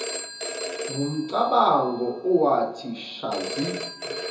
wumcabango owathi shazi